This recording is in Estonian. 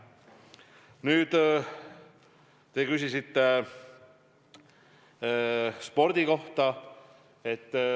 Nüüd, te küsisite spordi kohta.